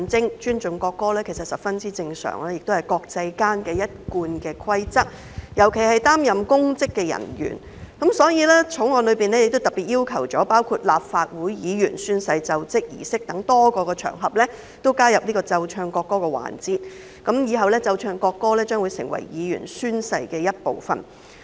其實尊重國歌十分正常，亦是國際間的一貫規則，尤其公職人員，所以《國歌條例草案》特別規定在立法會議員宣誓儀式等多個場合加入奏唱國歌的環節，以後奏唱國歌會成為議員宣誓儀式的一部分。